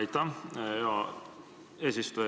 Aitäh, hea eesistuja!